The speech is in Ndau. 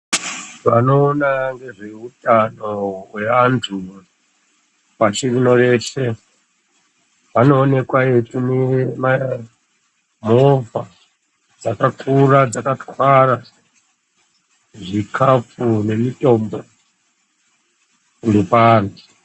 Vanoona ngezvehutano wevantu pashi rinoreshe vanoonekwa veitumira movha dzakakura dzakatwaara zvikafu nemitombo kundopa antu.